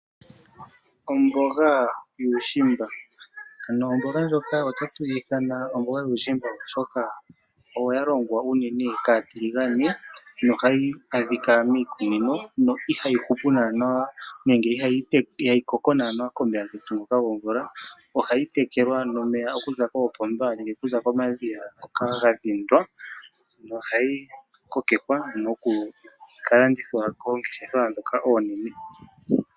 Omboga yuushimba Omboga ndjoka ohatu yi ithana omboga yuushimba, oshoka oyo ya longwa unene kaatiligane nohayi adhika miikunino, no ihayi hupu naanaa nenge ihayi koko komeya gomvula. Ohayi tekelwa nomeya okuza koopomba nenge okuza komadhiya ngoka ga dhindwa nohayi kokekwa noku ka landithwa koongeshefa ndhoka oonene.